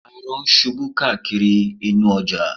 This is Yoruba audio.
Arọ ń ṣubú káàkiri inú ọjà